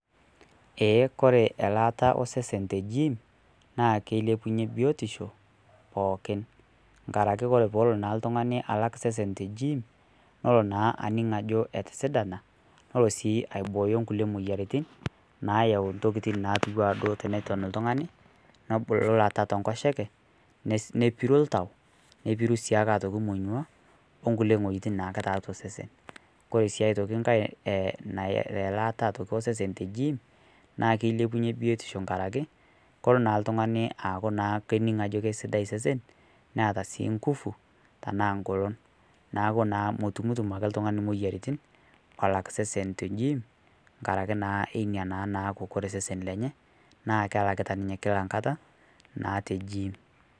ee kore elaata oo sesen te gim naa keilepunye biotishoo pookin ngarake kore peelo ltungani alak sesen te giim nolo naa aning ajo etisidanaa nolo sii aibooyo nkulie moyaritin naayau ntokitin naatuwa duo teneton ltungani nobulu lata te nkosheke nepiru ltau nepiru sii otoki monyua oo nkulie nghojitin naake taatua sesen kore sii otoki nghai elaata e sesen to giim naa keilepunye biotisho ngarakee kolo naa ltungani aaku naa kening ajo keisidai sesen neata sii nguvu tanaa ngolon naaku naa motumtum ake ltungani moyaritin lolak sesen to giim ngarake naa einia naa naaku kore sesen lenye kelakita ninye kila nkataa naa te giim